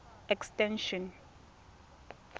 extension